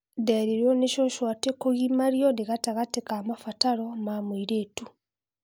Nderirwo nĩ cũcũ atĩ kũgimario nĩ gatagatĩ ka mabataro ma mũirĩtu